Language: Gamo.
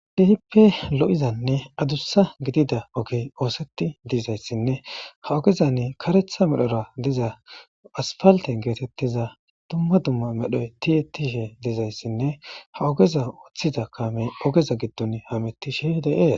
Keehipe lo'oza addusa ogey oosetidi dizayssa ha ogezani karetha medhora diza asipalite getetiza duma duma medhon tiyetidashe dizasane ha ogeza othida kameyi deyesi.